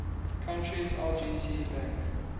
country's lgt bank